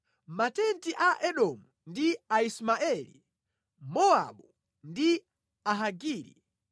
Matenti a Edomu ndi Aismaeli, Mowabu ndi Ahagiri,